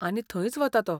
आनी थंयच वता तो.